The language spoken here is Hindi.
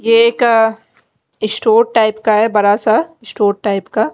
ये एक स्टोर टाइप का है बड़ा सा स्टोर टाइप का--